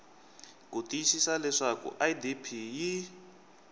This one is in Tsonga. ku tiyisisa leswaku idp yi